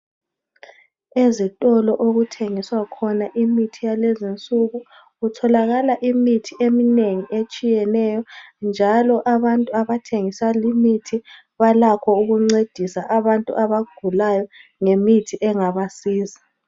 Ezitolo okuthengiswa khona imithi yalezinsuku kutholakala imithi eminengi etshiyeneyo njalo abantu abathengisa limithi balakho ukuncedisa abantu abagulayo ngemithi engabasiza.